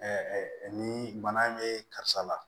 ni bana in bɛ karisa la